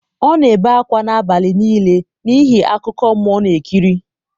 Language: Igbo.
ọ na-ebe akwa n’abalị nile n’ihi akụkọ mmụọ ọ na-ekiri.